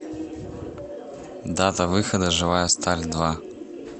дата выхода живая сталь два